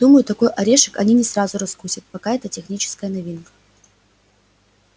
думаю такой орешек они не сразу раскусят пока это техническая новинка